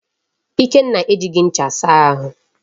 Ikenna ejighị ncha asa ahụ.